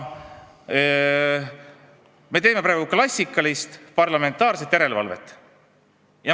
Me teeme praegu klassikalist parlamentaarset järelevalvet.